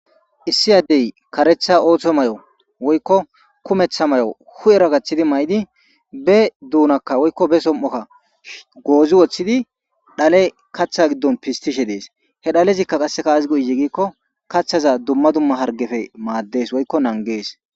Issi addey kareththa ooththo mayo woykko huphphera gaththidi mayidii be duunnakka woykko be somo'okka goozzii wooththidi dhale kaaththa giddon pistishe dees he dhalezikka azis go'ize gikko kaaththaza dumma dumma harggeppe maaddes